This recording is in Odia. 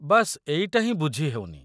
ବାସ୍ ଏଇଟା ହିଁ ବୁଝି ହେଉନି।